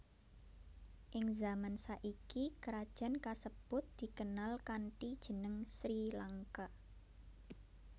Ing zaman saiki krajan kasebut dikenal kanthi jeneng Sri Lanka